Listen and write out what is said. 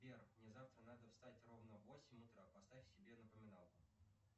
сбер мне завтра надо встать ровно в восемь утра поставь себе напоминалку